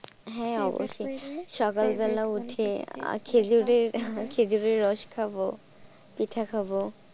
খেজুরের রস খাবো, পিঠে খাবো।